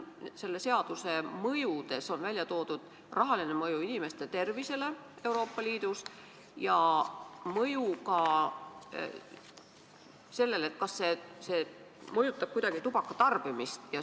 Selle seaduse mõjude seas on välja toodud rahaline mõju, mõju inimeste tervisele Euroopa Liidus ja mõju ka sellele, kas see mõjutab kuidagi tubaka tarbimist.